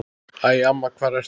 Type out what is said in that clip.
Æ, amma hvar ertu?